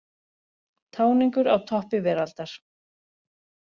Táningur á toppi veraldar